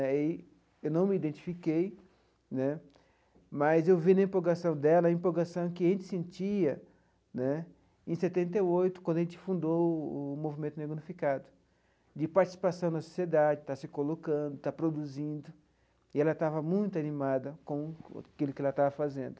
Aí eu não me identifiquei né, mas eu vi na empolgação dela a empolgação que a gente sentia né em setenta e oito, quando a gente fundou o o movimento negro unificado, de participação na sociedade, estar se colocando, estar produzindo, e ela estava muito animada com aquilo que ela estava fazendo.